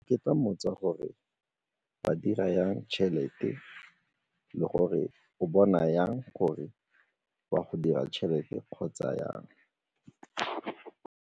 Ke ka mmotsa gore ba dira jang tšhelete le gore o bona jang gore o a go dira tšhelete kgotsa jang?